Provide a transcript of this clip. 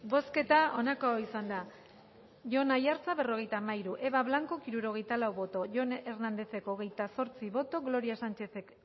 bozketa onako izan da jon aiartza berrogetamairu eva blanco hirurogeitalau boto jon hernandez hogetasortzi boto gloria sanchezek